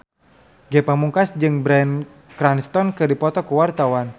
Ge Pamungkas jeung Bryan Cranston keur dipoto ku wartawan